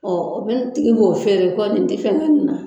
Ɔ o min tigi b'o fɛɛrɛ ko nin tɛ fɛn kɛ nin na.